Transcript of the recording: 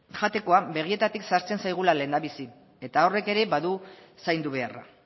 jatekoa begietatik sartzen zaigula lehendabizi eta horrek ere badu zaindu beharra